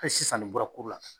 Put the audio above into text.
Hali sisan nin bɔra la.